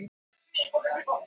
Ótta